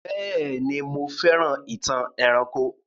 Béèni, mo fẹ́ràn ìtàn eranko